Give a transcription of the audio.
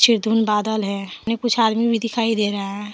ये धुन बादल है कुछ आदमी भी दिखाई दे रहा हैं।